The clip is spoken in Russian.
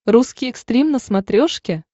русский экстрим на смотрешке